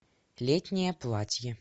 летнее платье